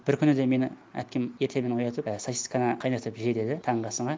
бір күні де мені әпкем ертеңіне оятып і сосисканы қайнатып же деді таңғы асыңа